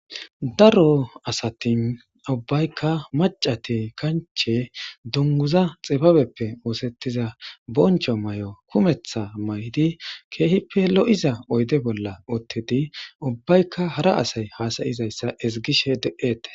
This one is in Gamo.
Daro asati ubayika maccati kanchche duniguza xibabeppe osetiza bonicho mayo kumetha mayidi kehippe lo7iza oyidde bola utidi ubayka hara asay hasa7izayta ezigettes